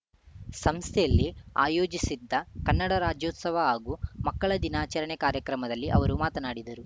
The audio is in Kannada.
ಸಂಸ್ಥೆಯಲ್ಲಿ ಆಯೋಜಿಸಿದ್ದ ಕನ್ನಡ ರಾಜ್ಯೋತ್ಸವ ಹಾಗೂ ಮಕ್ಕಳ ದಿನಾಚರಣೆ ಕಾರ್ಯಕ್ರಮದಲ್ಲಿ ಅವರು ಮಾತನಾಡಿದರು